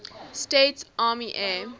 states army air